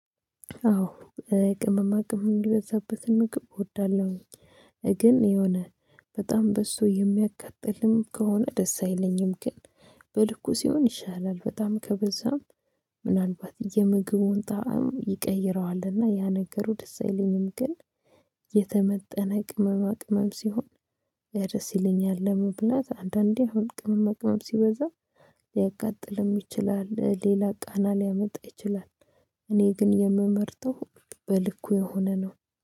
አዎ ቅመማ ቅመም የበዛበትን ምግብ እወዳለሁኝ። ግን የሆነ በጣም በሱ የሚያቃጥልም ከሆነ ደስ አይለኝም ግን በልኩ ሲሆን ይሻላል። በጣም ከበዛም ምናልባት የምግቡን ጣዕም ይቀይረዋልና ያ ነገሩ ደስ አይለኝም። ግን ቅመማ ቅመም ሲሆን ደስ ይለኛል። ለመብላት አንዳንዴ አሁን ቅመማ ቅመም ሲበዛ ሊያቃጥልም ይችላል ሌላ ቃና ሊያመጣ ይችላል። እኔ ግን የምመርጠው በልኩ የሆነ ነው